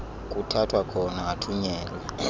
kuthathwa khona athunyelwe